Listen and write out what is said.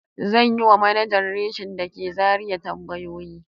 Zan yi wa manajan reshin da ke Zariya tambayoyi.